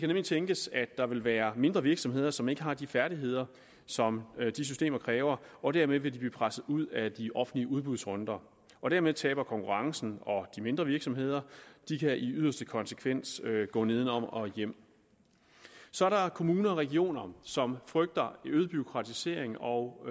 nemlig tænkes at der vil være mindre virksomheder som ikke har de færdigheder som de systemer kræver og dermed vil de blive presset ud af de offentlige udbudsrunder og dermed taber konkurrencen og de mindre virksomheder de kan i yderste konsekvens gå nedenom og hjem så er der kommuner og regioner som frygter øget bureaukratisering og